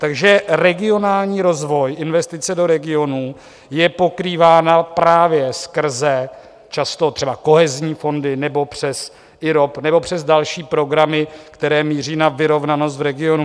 Takže regionální rozvoj, investice do regionů je pokrývána právě skrze často třeba kohezní fondy nebo přes IROP nebo přes další programy, které míří na vyrovnanost v regionu.